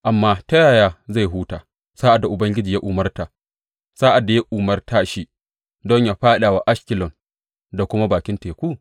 Amma ta yaya zai huta sa’ad da Ubangiji ya umarta, sa’ad da ya umarta shi don yă faɗa wa Ashkelon da kuma bakin teku?